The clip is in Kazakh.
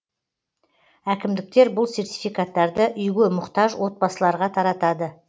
әкімдіктер бұл сертификаттарды үйге мұқтаж отбасыларға таратады